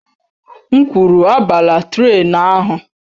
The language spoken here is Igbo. M kwuru, abala trén ahụ!